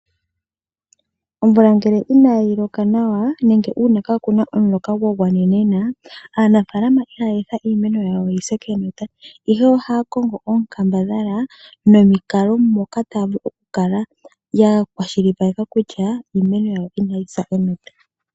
Omvula ngele inayi loka nawa nenge kaakuna omuloka gwa gwanenena aanafalama ihaya etha iimeno yawo yi se kenota ashike ohaya kongo oonkambadhala nomikalo moka taya vulu okukala ya kwashilipaleka kutya iimeno yawo inayi sa enota.